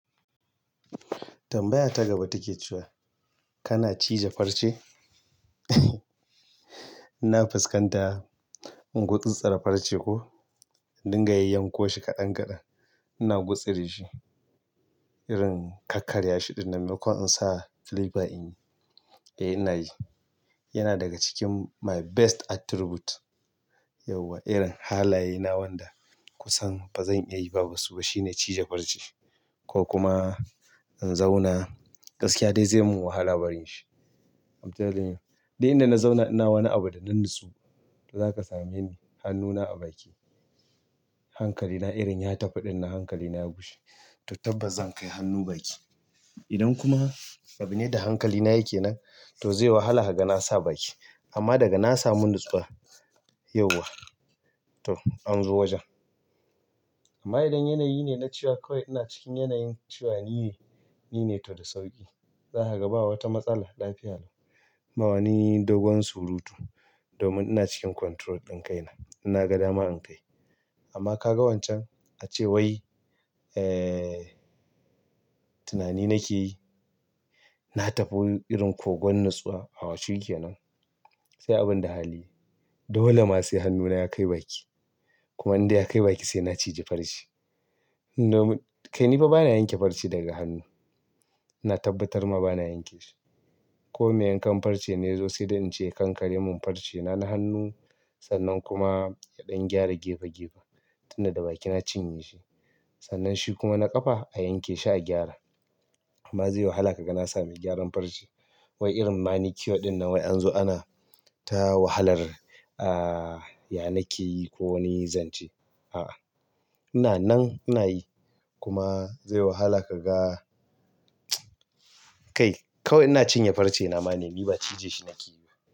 Tambaya ta gaba take cewa kana cije farce? Ina fuskanta in gutsi tsira farce ko in dinga yanyankoshi ƙadan-ƙadan. Ina gutsure shi irin kakkarya shiɗin nan mai ko in sa clipper in yi, eh ina yi. Yana daga cikin my best attribute yau wa irin halaye na wanda kusan ba zan iya yi ba basu. To shine cije farce ko kuma in zauna gaskiya dai zai mun wahala barin shi. I'm telling you, did inda na zauna ina wani abu da na natsu, to zaka same ni hannuna a baki. Hankali na irin ya tafiɗin nan hankali na ya gushe. To tabbas zan kai hannu baki. Idan kuma abu ne da hankali na yake nan, to zai wahala kaga na sa baki. Amma daga na samu natsuwa yauwa, to an zo wajen. Amma idan yanayi ne na cewa kawai ina cikin yanayin cewa ni ne, ni ne to da sauƙi. Zaka ga ba wata matsala lafiya lau. Ba wane dogon surutu domin ina cikin control ɗin kaina. Ina ga dama in kai. Amma ka ga wancan a cewai, eh tunani nake yi, na tafi irin kogon natsuwa a shikenan, sai abin da hali. Dole ma sai hannuna ya kai baki. Kuma inda na kai baki sai na cije farce. Domin kai ni fa ba na yanke farce daga hannu. Na tabbatar ma ba na yanke shi. Ko me yankan farce ne ya zo sai da in ce yakankare mun farce. Da na hannu sannan kuma yaɗan gyara gefe-gefe. Tin da da baki na cinye shi. Sannan shi kuma na ƙafa a yanke shi a gyara. Amma zai yi wahala ka ga na sami gyaran farce. Wai irin manicure ɗin nan wai an zo ana ta wahalar, ah, ya nake yi ko wani zance. A'a ina nan ina yi. Kuma zai wahala ka ga kai kawai ina cinye farce na ma ne, ni ba cije shi nake yi ba.